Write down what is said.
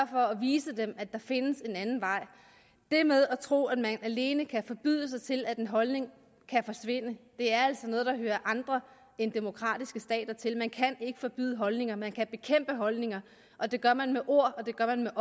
for at vise dem at der findes en anden vej det med at tro at man alene kan forbyde sig til at en holdning forsvinder er altså noget der hører andre end demokratiske stater til man kan ikke forbyde holdninger man kan bekæmpe holdninger og det gør man med ord og det gør man